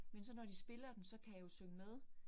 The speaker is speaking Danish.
Men så når de spiller dem, så kan jeg jo synge med